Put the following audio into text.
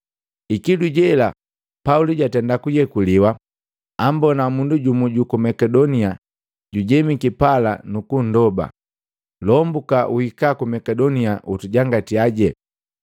Ikilu jela, Pauli jatenda kuyekuliwa, ambona mundu jumu juku Makedonia jujemiki pala nuku nndoba, “Lombuka, uhika ku Makedonia ukutujangatiaje.”